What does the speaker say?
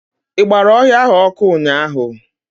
I gbara ọhịa ahụ ọkụ ụnyaahụ.